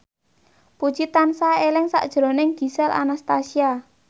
Puji tansah eling sakjroning Gisel Anastasia